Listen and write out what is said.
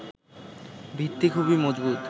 ভিত্তি খুবই মজবুত